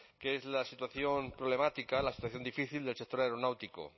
que es la situación problemática la situación difícil del sector aeronáutico